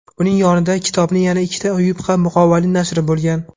Uning yonida kitobning yana ikkita yupqa muqovali nashri bo‘lgan.